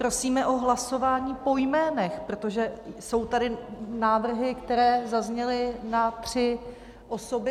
Prosíme o hlasování po jménech, protože jsou tady návrhy, které zazněly na tři osoby.